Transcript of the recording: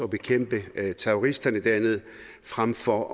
bekæmpe terroristerne dernede frem for